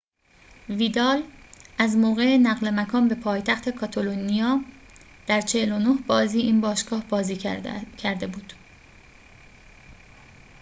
ویدال از موقع نقل مکان به پایتخت کاتالونیا در ۴۹ بازی این باشگاه بازی کرده بود